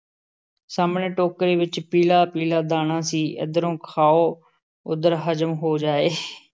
ਸਾਹਮਣੇ ਟੋਕਰੀ ਵਿੱਚ ਪੀਲ਼ਾ-ਪੀਲ਼ਾ ਦਾਣਾ ਸੀ, ਇੱਧਰੋਂ ਖਾਓ ਉੱਧਰ ਹਜ਼ਮ ਹੋ ਜਾਏ ।